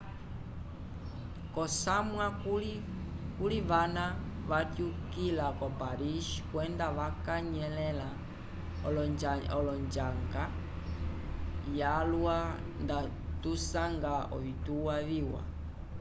k'osamwa kuli vana vatyukila ko paris kwenda vakanyelẽla l'onjanga yalwa nda tusanga ovituwa viwa